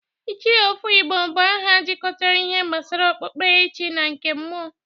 Ichie Ofo Igbo bụ aha jikọtara ihe gbasara okpukperechi na nke mmụọ,